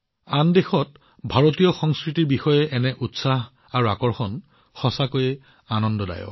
আন দেশত ভাৰতীয় সংস্কৃতিৰ প্ৰতি এনে উৎসাহ আৰু আকৰ্ষণ সঁচাকৈয়ে আনন্দদায়ক